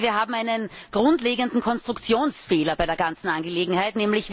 Wir haben einen grundlegenden Konstruktionsfehler bei der ganzen Angelegenheit.